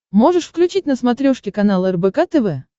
можешь включить на смотрешке канал рбк тв